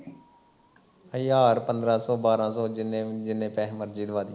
ਹਜ਼ਾਰ ਪੰਦਰਾਂ ਸੌ ਬਾਰ ਸੌ ਜਿੰਨੇ ਜਿੰਨੇ ਪੈਸੇ ਮਰਜੀ ਦਵਾ ਦੀ